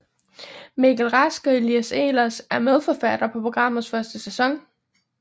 Mikkel Rask og Elias Ehlers er medforfattere på programmets første sæson